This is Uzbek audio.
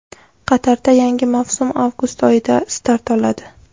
Qatarda yangi mavsum avgust oyidan start oladi.